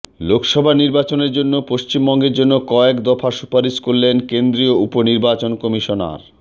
লোকসভা নির্বাচনের জন্য পশ্চিমবঙ্গের জন্য কয়েকদফা সুপারিশ করলেন কেন্দ্রীয় উপ নির্বাচন কমিশনার